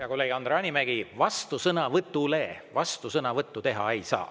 Hea kolleeg Andre Hanimägi, vastusõnavõtule vastusõnavõttu teha ei saa.